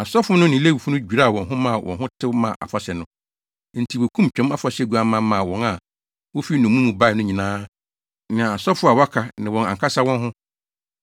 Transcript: Asɔfo no ne Lewifo no dwiraa wɔn ho maa wɔn ho tew maa afahyɛ no. Enti wokum Twam Afahyɛ guamma maa wɔn a wofi nnommum mu bae no nyinaa ne asɔfo a wɔaka ne wɔn ankasa wɔn ho.